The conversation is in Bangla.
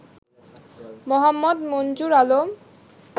মোহাম্মদ মঞ্জুর আলম